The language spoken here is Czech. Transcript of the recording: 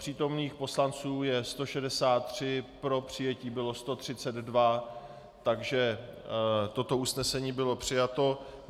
Přítomných poslanců je 163, pro přijetí bylo 132 , takže toto usnesení bylo přijato.